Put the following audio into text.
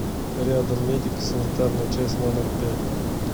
рядом медико санитарная часть номер пять